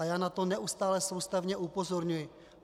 A já na to neustále soustavně upozorňuji.